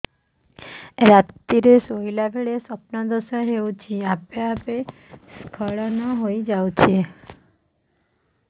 ରାତିରେ ଶୋଇଲା ବେଳେ ସ୍ବପ୍ନ ଦୋଷ ହେଉଛି ଆପେ ଆପେ ସ୍ଖଳନ ହେଇଯାଉଛି